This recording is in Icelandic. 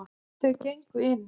Þau gengu inn.